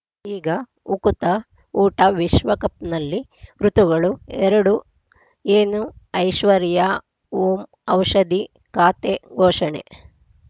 ಈಗ ಉಕುತ ಊಟ ವಿಶ್ವಕಪ್‌ನಲ್ಲಿ ಋತುಗಳು ಎರಡು ಏನು ಐಶ್ವರ್ಯಾ ಓಂ ಔಷಧಿ ಖಾತೆ ಘೋಷಣೆ